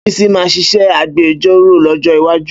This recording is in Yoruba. Bísí máa ṣiṣẹ́ agbejọ́rò lọ́jọ́ iwájú.